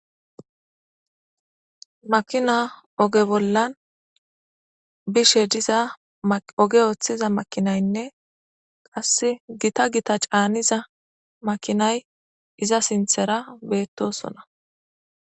makina oge bollan bishe diza oge ooththiza makinaynne qasse gita gita caaniza makinay iza sinthera beettosona